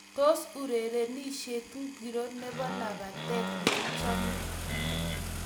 Tos, urerenishet ngiro nebo labatet niichame?